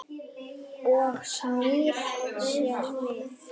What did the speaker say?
Og snýr sér við.